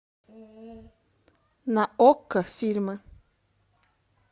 на окко фильмы